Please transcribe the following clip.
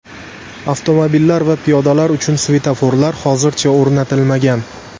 Avtomobillar va piyodalar uchun svetoforlar hozircha o‘rnatilmagan.